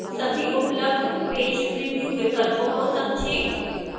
सभी उपलब्ध page preview विकल्पों को समझें